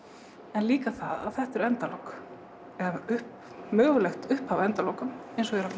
en líka það að þetta eru endalok eða mögulegt upphaf að endalokum